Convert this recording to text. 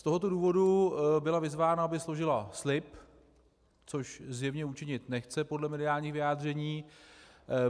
Z tohoto důvodu byla vyzvána, aby složila slib, což zjevně učinit nechce podle mediálních vyjádření.